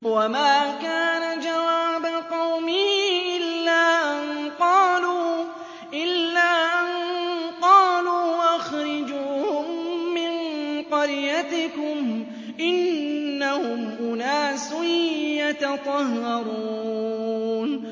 وَمَا كَانَ جَوَابَ قَوْمِهِ إِلَّا أَن قَالُوا أَخْرِجُوهُم مِّن قَرْيَتِكُمْ ۖ إِنَّهُمْ أُنَاسٌ يَتَطَهَّرُونَ